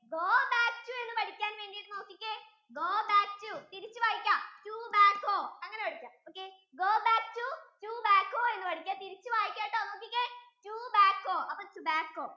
go back to എന്ന് പഠിക്കാൻ വേണ്ടീട്ട് നോക്കിക്കേ go back to തിരിച്ച് വായിക്കാം to back go അങ്ങനെ പഠിക്കാം ok, go back to, to back go എന്ന് പഠിക്കാട്ടോ തിരിച്ച് വായിക്കാട്ടോ നോക്കിക്കേ to back go അപ്പൊ tobacko, tobacko